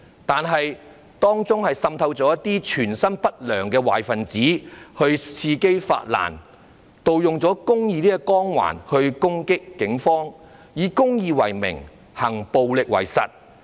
但是，當中滲透了一些存心不良的壞分子，伺機發難，盜用了公義這個光環來襲擊警方，以公義為名，行暴力為實。